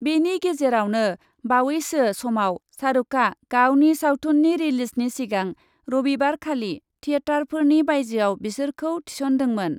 बेनि गेजेरावनो बावैसो समाव शाहरुकआ गावनि सावथुननि रिलिजनि सिगां रबिबारखालि थियेटारफोरनि बाइजोआव बिसोरखौ थिसनदोंमोन ।